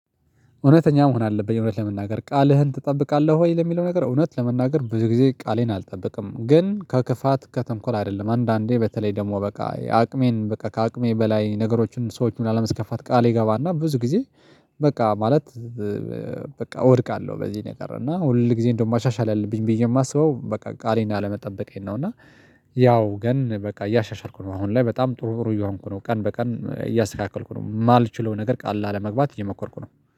እውነተኛ መሆን አለብኝ እውነት ለመናገር ቃልህን ትጠብቃለህ ወይ? ለሚለው ነገር እውነት ለመናገር ብዙ ጊዜ ቃሌን አልጠበቅም። ግን ከክፋት ከተንኮል አይደለም አንዳንዴ በተለይ ደግሞ በቃ አቅሜን በቃ ከአቅሜ በላይ ነገሮችን ሰዎችን ላለማስከፋት ቃል እገባና ብዙ ጊዜ በቃ ማለት በቃ እወድቃለሁ። በዚህ ነገር እና ሁል ጊዜ እንደውም ማሻሻል አለብኝ ብዬ የማስበው በቃ ቃሌን አለመጠበቄን ነው። እና ያው ግን በቃ እያሻሻልኩ ነው አሁን ላይ በጣም ጥሩ ጥሩ እየሆንኩ ነው። ቀን በቀን እያስተካከልኩ ነው የማልችለውን ነገር ቃል ላለመግባት እየሞኮርኩ ነው